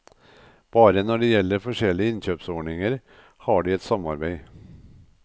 Bare når det gjelder forskjellige innkjøpsordninger, har de et samarbeid.